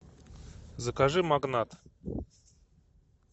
закажи магнат